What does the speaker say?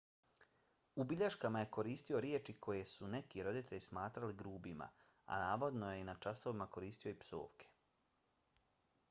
u bilješkama je koristio riječi koje su neki roditelji smatrali grubima a navodno je na časovima koristio i psovke